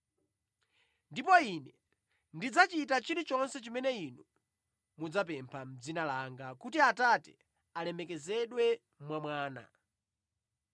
Ndipo Ine ndidzachita chilichonse chimene inu mudzapempha mʼdzina langa kuti Atate alemekezedwe mwa Mwana.